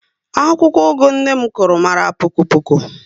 Akwụkwọ ugu nné m Kuru mara poko poko